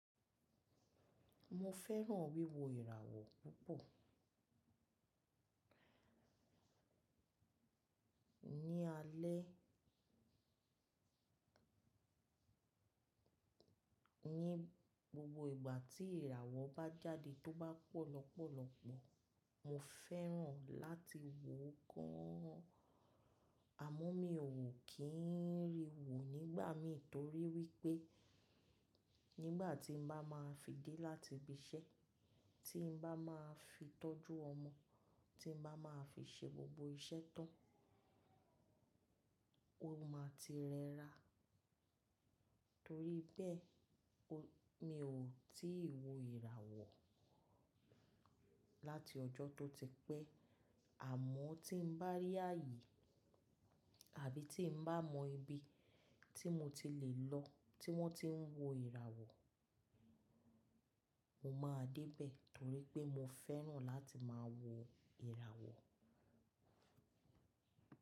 Mo fẹ́ràn wíwo ìràwọ̀ púpọ̀. Ní alẹ́, ní gbogbo ìgbà tí ìràwọ̀ bá jáde tó bá pọ̀ lọ́pọ̀lọ́pọ̀, mo fẹ́ràn láti wò ó gan an. Àmọ́ mi ò wò kì í rí wò nígbà mí torí wípé nígbà tí mo bá máa fi dé láti ibi iṣẹ́, tí n bá máa fi tọ́jú ọmọ, tí n bá máa fi ṣe gbogbo iṣẹ́ tán, ó máa ti rẹra. Torí bẹ́ẹ̀, mi ò tí ì wo ìràwọ̀ láti ọjọ́ tó ti pẹ́. Àmọ́ tí n bá rí ààyè àbí tí n bá mọ ibi tí mo ti lè lọ tí wọ́n ti ń wo ìràwọ̀, mo máa dé bẹ̀ torí pé mo fẹ́ràn láti máa wo ìràwọ̀.